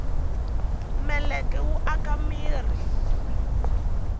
meleke wu aka mirhi